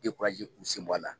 kun bɔ a la